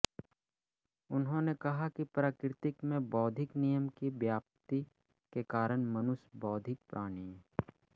उन्होंने कहा कि प्रकृति में बौद्धिक नियम की व्याप्ति के कारण मनुष्य बौद्धिक प्राणी है